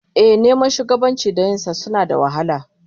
Ehh, neman shugabanci da yin sa suna da wahala